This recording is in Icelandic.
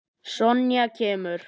Sonja kemur.